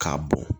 K'a bɔn